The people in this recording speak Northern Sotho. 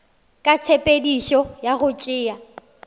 ka tshepedišo ya go tšea